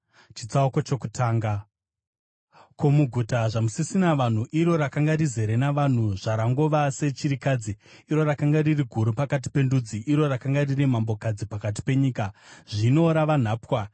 Ko, muguta zvamusisina vanhu, iro rakanga rizere navanhu! Zvarangova sechirikadzi, iro rakanga riri guru pakati pendudzi! Iro rakanga riri mambokadzi pakati penyika, zvino rava nhapwa.